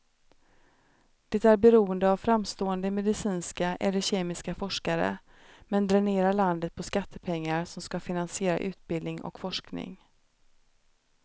Det är beroende av framstående medicinska eller kemiska forskare, men dränerar landet på skattepengar som ska finansiera utbildning och forskning.